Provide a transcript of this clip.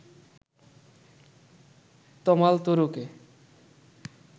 তমাল তরুকে